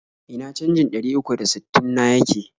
Ina canjin ɗari uku da sittin na yake?